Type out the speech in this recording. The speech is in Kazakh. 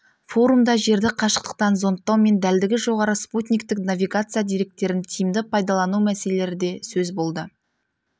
форумда жерді қашықтықтан зондтау мен дәлдігі жоғары спутниктік навигация деректерін тиімді пайдалану мәселелері де сөз болды